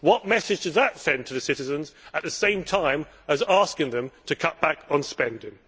What message does that send to the citizens, at the same time as asking them to cut back on spending?